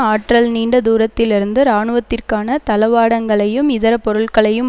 ஆற்றல் நீண்ட தூரத்திலிருந்து இராணுவத்திற்கான தளவாடங்களையும் இதர பொருள்களையும்